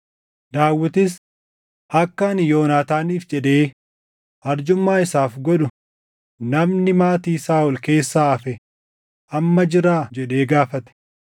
Daawitis, “Akka ani Yoonaataaniif jedhee arjummaa isaaf godhu namni maatii Saaʼol keessaa hafe amma jiraa?” jedhee gaafate.